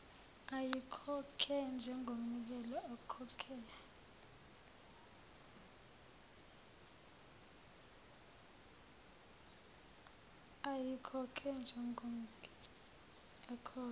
ayikhokhe njengomnikelo ekhokhela